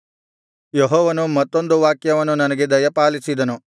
ಯೆಹೋವನು ಮತ್ತೊಂದು ವಾಕ್ಯವನ್ನು ನನಗೆ ದಯಪಾಲಿಸಿದನು